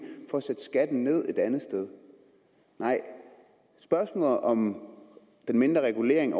for at sætte skatten ned et andet sted nej spørgsmålet om den mindre regulering af